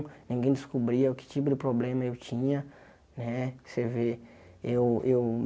Ninguém descobria que tipo de problema eu tinha. Né para você ver eu eu